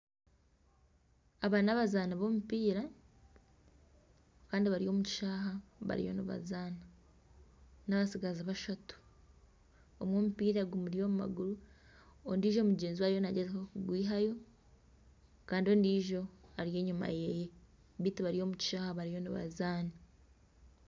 Aba ni abazaani b'omupiira Kandi bari omu kishayi bariyo nibazaana. Ni abatsigazi bashatu. Omwe omupiira gumuri omu maguru, ondijo mugyenzi we ariyo nagyezaho kugwihayo Kandi ondijo ari enyima yeye beitu bari omu kishayi bariyo nibazaana.